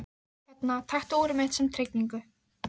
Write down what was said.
Hérna, taktu úrið mitt sem tryggingu.